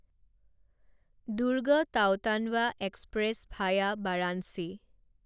Durg Nautanwa express via Varanasi